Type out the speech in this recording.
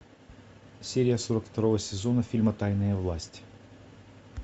серия сорок второго сезона фильма тайная власть